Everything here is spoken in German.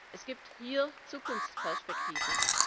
Es gibt hier Zukunftsperspektiven.